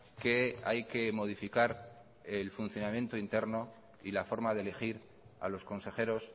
que hay que modificar el funcionamiento interno y la forma de elegir a los consejeros